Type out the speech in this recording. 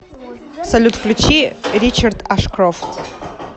салют включи ричард ашкрофт